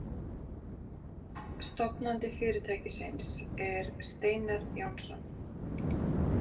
Stofnandi fyrirtækisins er Steinar Jónsson.